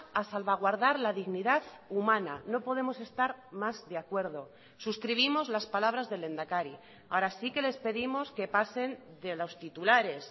a salvaguardar la dignidad humana no podemos estar más de acuerdo suscribimos las palabras del lehendakari ahora sí que les pedimos que pasen de los titulares